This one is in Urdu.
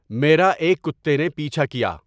میرا ایک کتے نے پیچھا کیا